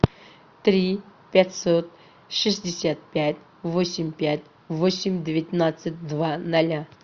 три пятьсот шестьдесят пять восемь пять восемь девятнадцать два ноля